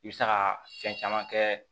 I bɛ se ka fɛn caman kɛ